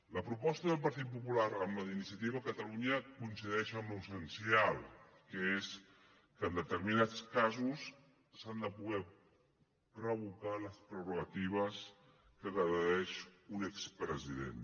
la proposta del partit popular amb la d’iniciativa per catalunya coincideix en l’essencial que és que en determinats casos s’han de poder revocar les prerrogatives de què gaudeix un expresident